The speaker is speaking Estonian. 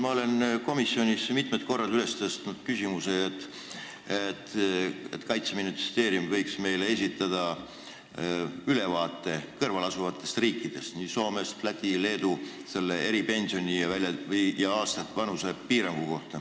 Ma olen komisjonis mitmel korral üles tõstnud küsimuse, et Kaitseministeerium võiks meile esitada ülevaate meie kõrval asuvates riikides – Soomes, Lätis, Leedus – kehtivatest eripensionidest ja vanusepiirangutest.